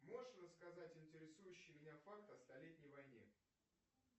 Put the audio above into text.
можешь рассказать интересующий меня факт о столетней войне